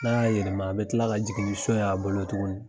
N'a ya yelema a bi kila ka jigin ni siyon ye a bolo tuguni.